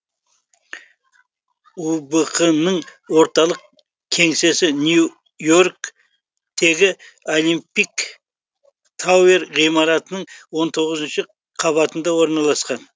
ұбқ ның орталық кеңсесі нью йорк тегі олимпик тауэр ғимаратының он тоғызыншы қабатында орналасқан